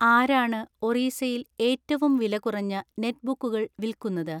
ആരാണ് ഒറീസയിൽ ഏറ്റവും വിലകുറഞ്ഞ നെറ്റ്ബുക്കുകൾ വിൽക്കുന്നത്